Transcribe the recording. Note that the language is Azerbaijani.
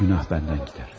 günah məndən gedər.